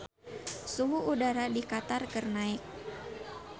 Suhu udara di Qatar keur naek